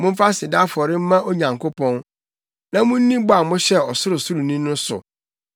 Momfa aseda afɔre mma Onyankopɔn, na munni bɔ a mohyɛɛ Ɔsorosoroni no so,